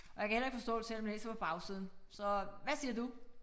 Og jeg kan heller ikke forstå det selvom jeg læser på bagsiden så hvad siger du